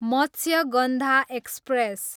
Matsyagandha express